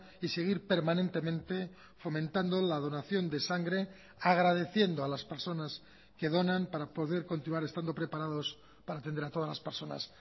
y seguir permanentemente fomentando la donación de sangre agradeciendo a las personas que donan para poder continuar estando preparados para atender a todas las personas